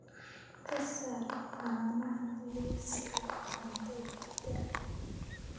ka saar caanaha liiska cuntadayda